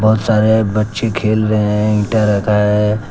बहुत सारे बच्चे खेल रहे है। ईटा रखा है।